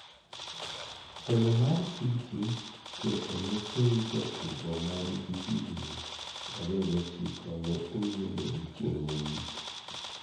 temo mar City keto ne seyi jatugo man gi higni 29 ne oyenegi chieng' mogik